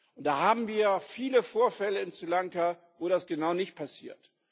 Und da haben wir viele Vorfälle in Sri Lanka, wo das genau nicht passiert.